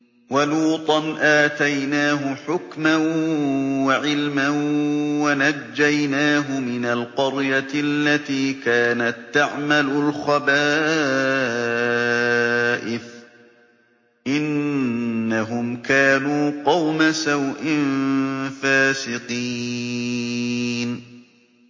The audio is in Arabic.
وَلُوطًا آتَيْنَاهُ حُكْمًا وَعِلْمًا وَنَجَّيْنَاهُ مِنَ الْقَرْيَةِ الَّتِي كَانَت تَّعْمَلُ الْخَبَائِثَ ۗ إِنَّهُمْ كَانُوا قَوْمَ سَوْءٍ فَاسِقِينَ